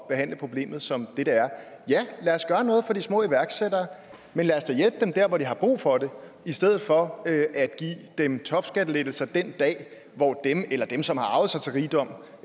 behandle problemet som det det er ja lad os gøre noget for de små iværksættere men lad os da hjælpe dem der hvor de har brug for det i stedet for at give dem topskattelettelser den dag hvor den eller dem som har arvet sig til rigdom